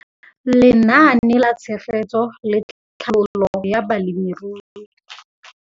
Lenaane la Tshegetso le Tlhabololo ya Balemirui.